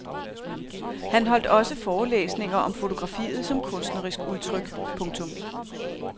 Han holdt også forelæsninger om fotografiet som kunstnerisk udtryk. punktum